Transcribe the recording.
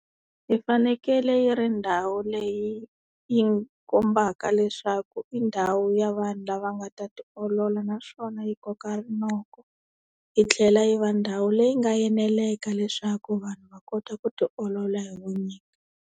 Yi fanekele yi ri ndhawu leyi yi kombaka leswaku i ndhawu ya vanhu lava nga ta tiolola naswona yi koka rinoko yi tlhela yi va ndhawu leyi nga eneleka leswaku vanhu va kota ku ti olola hi vunyingi.